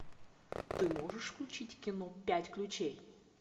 ты можешь включить кино пять ключей